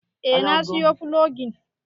Eh na siyo fulogin